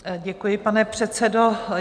Děkuji, pane předsedo.